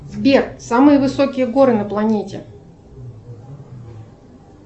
сбер самые высокие горы на планете